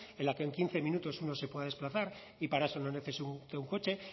en la que en quince minutos uno se pueda desplazar y para eso no necesite un coche